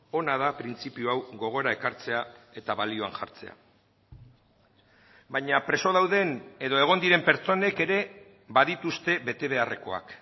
ona da printzipio hau gogora ekartzea eta balioan jartzea baina preso dauden edo egon diren pertsonek ere badituzte betebeharrekoak